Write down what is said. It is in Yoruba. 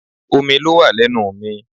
Omi ló wà lẹ́nu mi